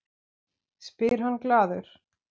spyr hann glaður.